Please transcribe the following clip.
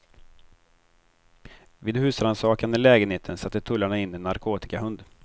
Vid husrannsakan i lägenheten satte tullarna in en narkotikahund.